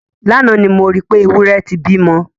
Lánàá ni mo rí pé, ewúrẹ́ ẹ ti bímọ.